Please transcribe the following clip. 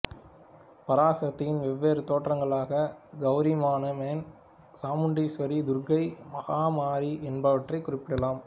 பராசக்தியின் வெவ்வேறு தோற்றங்களாக கௌரிமனோன்மணி சாமுண்டீஸ்வரி துர்க்கை மகமாரி என்பவற்றை குறிப்பிடலாம்